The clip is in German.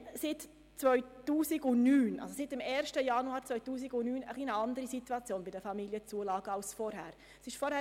Seit dem 1. Januar 2019 ist die Situation bei den Familienzulagen etwas anders als vorher.